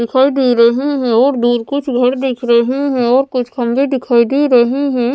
दिखाई दे रहे हैं और दूर कुछ घर दिख रहे हैं और कुछ खम्भे दिखाई दे रहे हैं।